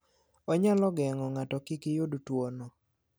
Onyalo geng'o ng'ato kik yud tuwono.